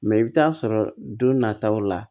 Mɛ i bɛ t'a sɔrɔ don nataw la